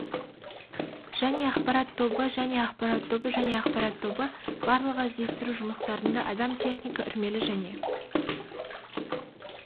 және ақпарат тобы және ақпарат тобы және ақпарат тобы барлығы іздестіру жұмыстарына адам техника үрмелі және